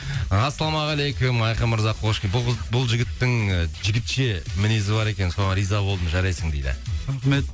ассалаумағалейкум айқын мырза хош бұл жігіттің і жігітше мінезі бар екен соған риза болдым жарайсың дейді рахмет